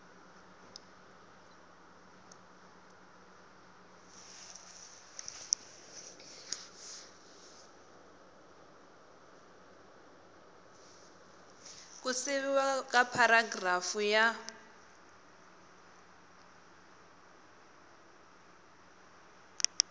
ku siviwa ka pharagirafu ya